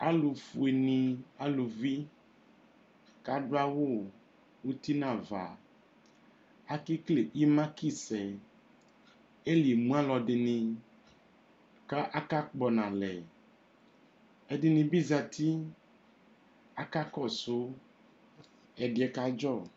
Alʋfuenɩ aluvi kʋ adʋ awʋ uti nʋ ava akekele ɩmakisɛ Ɛlɩ emu alʋɛdɩnɩ kʋ akakpɔ nʋ alɛ Ɛdɩnɩ zati akakɔsʋ ɛdɩ yɛ kadzɔ